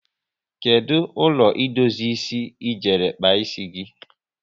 Kedụ ụlọ idozi ịsị e jere kpa ịsị gị?